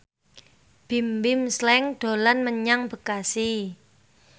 Bimbim Slank dolan menyang Bekasi